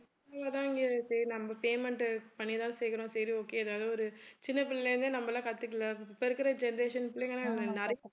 நம்ம payment உ பண்ணிதான் சேர்க்கிறோம் சரி okay ஏதாவது ஒரு சின்ன பிள்ளைலயிருந்தே நம்மலாம் கத்துகல இப்ப இருக்கிற generation பிள்ளைங்கலாம்